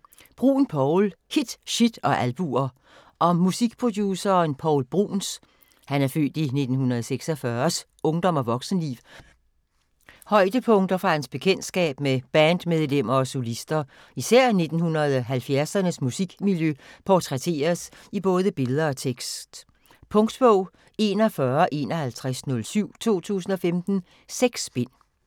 Bruun, Poul: Hit, shit og albuer Om musikproduceren Poul Bruuns (f. 1946) ungdom og voksenliv, og højdepunkter fra hans bekendtskab med bandmedlemmer og solister. Især 1970'ernes musikmiljø portrætteres i både billeder og tekst. Punktbog 415107 2015. 6 bind.